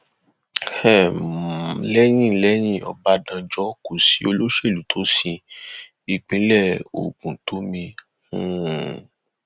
um lẹyìn lẹyìn ọbadànjọ kò sí olóṣèlú tó sin ìpínlẹ ogun tó mì um